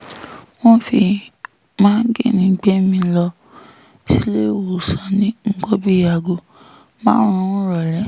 wọ́n fi máńgínní gbé mi lọ síléèwọ̀sán ní nǹkan bíi aago márùn-ún ìrọ̀lẹ́